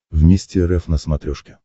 вместе рф на смотрешке